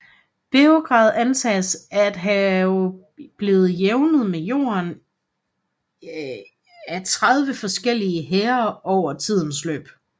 Beograd antages at have blevet jævnet med jorden af 30 forskellige hære over tidens løb